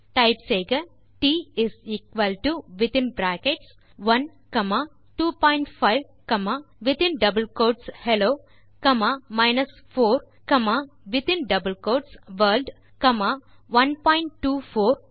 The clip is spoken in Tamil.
டைப் செய்க d is equal to within brackets 1 25 hello 4 world 1245